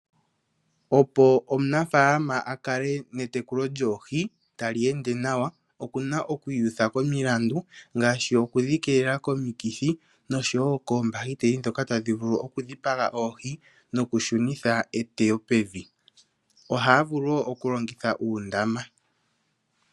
Opo omunafaalama akale netekulo lyoohi tali ende nawa, okuna okwiiyutha komilandu, ngaashi okudhi keelela komitkithi, noshowo koombahiteli ndhono tadhi vulu okudhipaga oohi, nokushunitha eteyo pevi. Ohaya vulu wo okulongitha uundama.